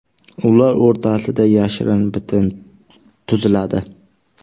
Ular o‘rtasida yashirin bitim tuziladi.